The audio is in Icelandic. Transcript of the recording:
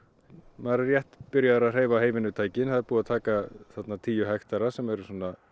maður er rétt byrjaður að hreyfa það er búið að taka þarna tíu hektara sem er